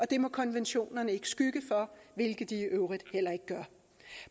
det må konventionerne ikke skygge for hvilket de i øvrigt heller ikke gør